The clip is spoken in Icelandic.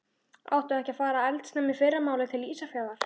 Áttu ekki að fara eldsnemma í fyrramálið til Ísafjarðar?